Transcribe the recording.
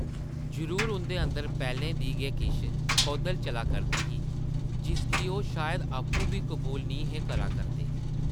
जरूर उंʼदे अंदर पैह्लें दी गै किश खौधल चला करदी ही, जिसगी ओह् शायद आपूं बी कबूल निं हे करा करदे ।